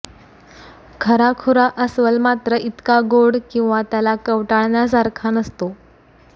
खरा खुरा अस्वल मात्र इतका गोड किंवा त्याला कवटाळण्यासारखा नसतो